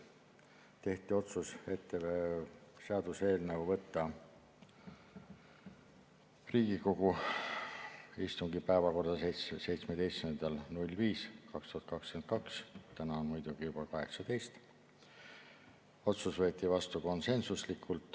Tehti otsus, et seaduseelnõu võtta Riigikogu istungi päevakorda 17. mail 2022 – nüüd on muidugi juba 18. mai –, see otsus võeti vastu konsensuslikult.